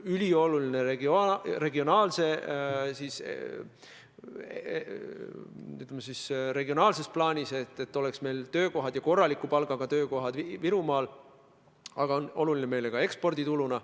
Regionaalses plaanis on ülioluline, et meil oleks töökohad, korraliku palgaga töökohad Virumaal, aga see on meile oluline ka ekspordituluna.